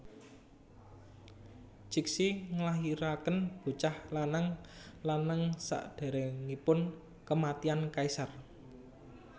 Cixi nglahirakén bocah lanang lanang sakdéréngipun kèmatian kaisar